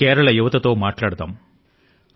కేరళ యొక్క నవ యువకుని తో మాట్లాడదాము